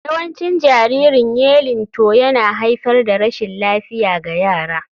Yawancin jaririn yeilingbto yana haifar da rashin lafiya ga yara.